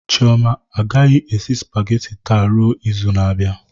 Chioma agaghị esi spageti taa ruo izu na-abịa